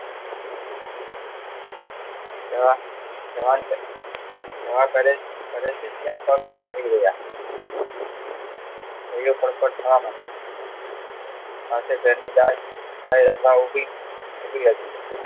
તેઓ સ્થળાંતરે જય કરે ત્યા આયે તરત થવા મંડી આથી તેનું બાલ ઉભી રાખી